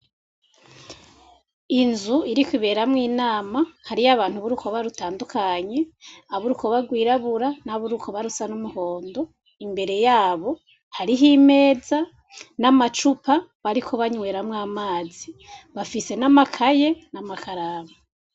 Inzu iriko iberamwo inama, hariyo abantu b'urukoba rutandukanye, ab'irukoba rwirabura n'ab'urukoba rusa n'umuhondo. Imbere yabo hariho imeza n'amacupa bariko banyweramwo amazi, bafise n'amakaye n'amakaramu.